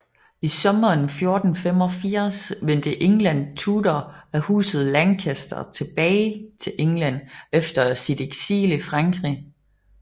I sommeren 1485 vendte England Tudor af huset Lancaster tilbage til England efter sit eksil i Frankrig